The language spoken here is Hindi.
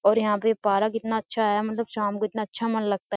और यह पे पारा कितना अच्छा है मतलब शाम को इतना अच्छा मन लगता है।